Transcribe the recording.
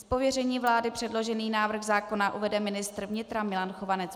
Z pověření vlády předložený návrh zákona uvede ministr vnitra Milan Chovanec.